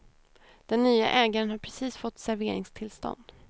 Den nye ägaren har precis fått serveringstillstånd.